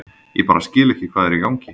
Ég bara skil ekki hvað er í gangi.